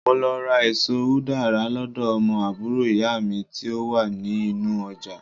mo lọ ra eso udara lodo omo àbúrò iya mi ti o wa ni inú ojà